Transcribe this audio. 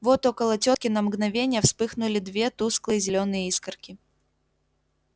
вот около тётки на мгновение вспыхнули две тусклые зелёные искорки